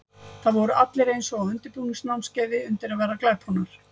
Það voru allir eins og á undirbúningsnámskeiði undir að verða glæponar.